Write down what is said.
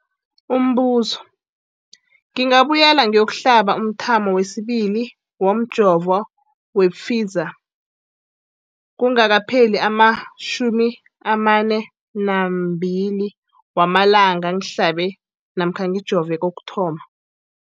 Umbuzo, ngingabuyela ngiyokuhlaba umthamo wesibili womjovo we-Pfizer kungakapheli ama-42 wamalanga ngihlabe namkha ngijove kokuthoma.